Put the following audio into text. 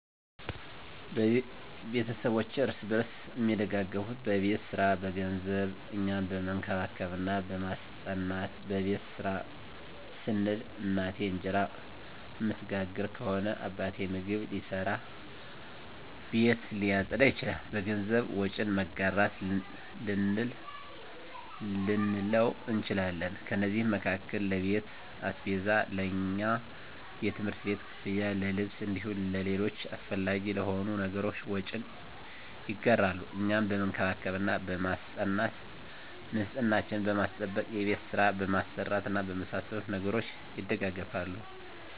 ቤተስቦቼ እርስ በርስ አሚደጋገፋት በቤት ሰራ፣ በገንዘብ፣ እኛን በመንከባከብ እና በማስጠናት። በቤት ስራ ስንል፦ እናቴ እንጀራ እምትጋግር ከሆነ አባቴ ምግብ ሊሰራ፣ ቤት ሊያፀዳ ይችላል። በገንዘብ፦ ወጪን መጋራት ልንለው እንችላለን። ከነዚህም መካከል ለቤት አስቤዛ፣ ለእኛ የትምህርት ቤት ክፍያ፣ ለልብስ እንዲሁም ለሌሎች አሰፈላጊ ለሆኑ ነገሮች ወጪን ይጋራሉ። እኛን በመንከባከብ እና በማስጠናት፦ ንፅህናችንን በማስጠበቅ፣ የቤት ስራ በማሰራት እና በመሳሰሉት ነገሮች ይደጋገፋሉ።